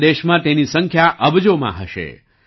આખા દેશમાં તેની સંખ્યા અબજોમાં હશે